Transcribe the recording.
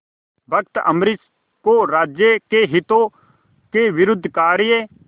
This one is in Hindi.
भक्त अम्बरीश को राज्य के हितों के विरुद्ध कार्य